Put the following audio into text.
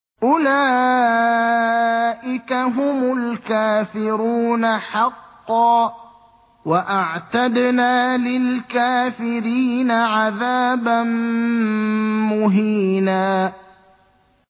أُولَٰئِكَ هُمُ الْكَافِرُونَ حَقًّا ۚ وَأَعْتَدْنَا لِلْكَافِرِينَ عَذَابًا مُّهِينًا